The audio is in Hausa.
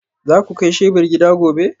Za ku kai shebur gida gobe?